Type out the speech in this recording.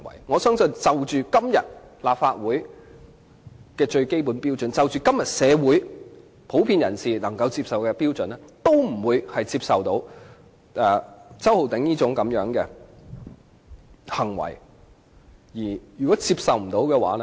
我相信，無論是按今天立法會最基本的標準，或按今天社會普遍人士能夠接受的標準，周浩鼎議員的這種行為都是不能接受的。